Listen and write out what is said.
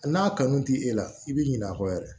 A n'a kanu t'i la i bɛ ɲinɛ a kɔ yɛrɛ